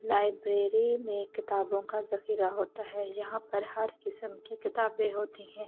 Library में किताबों का जखीरा होता है। यहां पर हर किस्म की किताबें होती हैं।